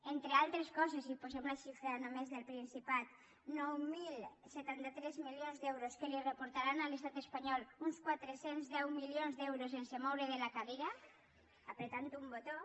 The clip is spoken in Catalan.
entre altres coses i posem la xifra només del principat nou mil setanta tres milions d’euros que li reportaran a l’estat espanyol uns quatre cents i deu milions d’euros sense moure’s de la cadira pitjant un botó